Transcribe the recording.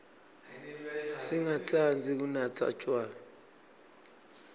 singatsandzi kunatsa tjwala